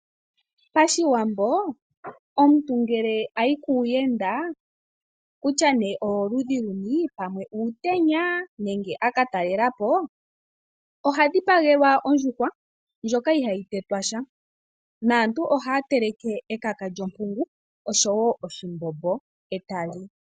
Pashiwambo omuntu ngele ayi kuuyenda, kutya nee owoludhi luni, pamwe uutenya nenge aka talela po. Oha dhipagelwa ondjuhwa ndjoka ihayi tetwa sha naantu ohaa teleke ekaka lyonkungu oshowo oshimbombo e ta li.